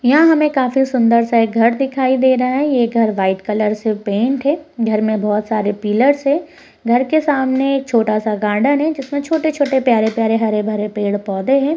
यह हमें काफी सुन्दर सा एक घर दिखाई दे रहा हैं | ये घर वाइट कलर से पेंट है। घर में बहुत सारे पिल्लर्स है। घर के सामने एक छोटा सा गार्डन है जिसमे छोटे छोटे प्यारे प्यारे हरे भरे पेड़ पौधे हैं।